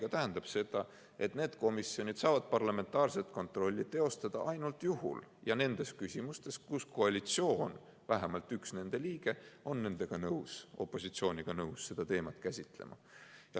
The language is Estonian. See tähendab seda, et need komisjonid saavad parlamentaarset kontrolli teostada ainult teatud juhul ja nendes küsimustes, kus koalitsioon, vähemalt üks nende liige, on opositsiooniga nõus seda teemat käsitlema.